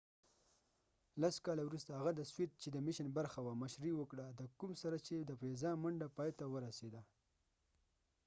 لس کاله وروسته هغه د سوویت چې د apollo-soyuz میشن برخه وه مشري وکړه د کوم سره چې د فضا منډه پایته ورسېده